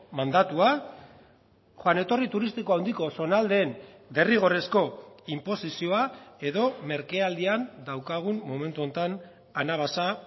mandatua joan etorri turistiko handiko zonaldeen derrigorrezko inposizioa edo merkealdian daukagun momentu honetan anabasa